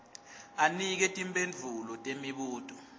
anike timphendvulo temibuto